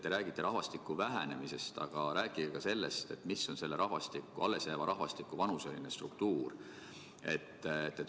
Te räägite rahvastiku vähenemisest, aga rääkige ka sellest, milline on selle allesjääva rahvastiku vanuseline struktuur.